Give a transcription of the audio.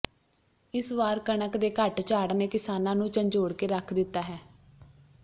ਇਸ ਵਾਰ ਕਣਕ ਦੇ ਘੱਟ ਝਾੜ ਨੇ ਕਿਸਾਨਾਂ ਨੂੰ ਝੰਜੋੜ ਕੇ ਰੱਖ ਦਿੱਤਾ ਹੈ